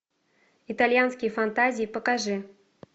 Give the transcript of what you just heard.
итальянские фантазии покажи